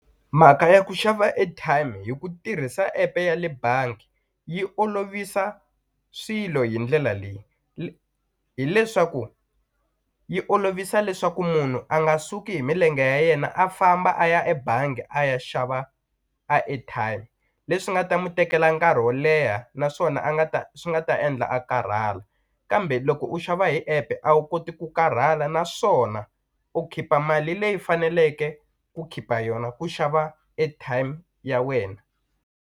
Mhaka ya ku xava airtime hi ku tirhisa epe yale bangi yi olovisa swilo hi ndlela leyi, hileswaku yi olovisa leswaku munhu a nga suki hi milenge ya yena a famba a ya ebangi a ya xava a airtime leswi nga ta mu tekela nkarhi wo leha naswona a nga ta swi nga ta endla a karhala kambe loko u xava hi epe a wu koti ku karhala naswona u khipa mali leyi faneleke ku khipa yona ku xava airtime ya wena.